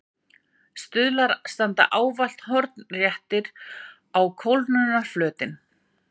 Stuðlar standa ávallt hornréttir á kólnunarflötinn.